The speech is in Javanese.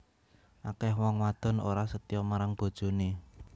Akeh wong wadon ora setya marang bojone